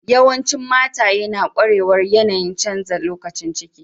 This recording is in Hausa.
Yawancin mataye na kwarewar yanayi'n canza lokacin ciki.